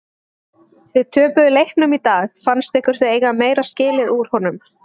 Þið töpuðu leiknum í dag fannst ykkur þið eiga meira skilið úr honum?